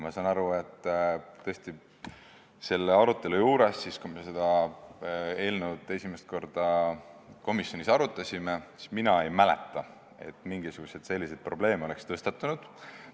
Mina ei mäleta, et kui me seda eelnõu esimest korda komisjonis arutasime, siis oleks mingisuguseid selliseid probleeme tõstatunud.